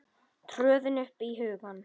tröðin upp í hugann.